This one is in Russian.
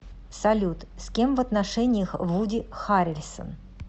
салют с кем в отношениях вуди харрельсон